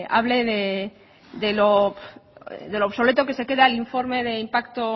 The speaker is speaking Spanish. hable de lo obsoleto que se queda el informe de impacto